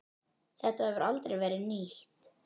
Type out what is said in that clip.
Þetta hefur aldrei verið nýtt.